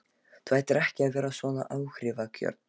Þú ættir ekki að vera svona áhrifagjörn